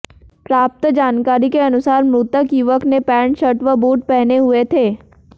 प्राप्त जानकारी के अनुसार मृतक युवक ने पेंट शर्ट व बूट पहने हुये थे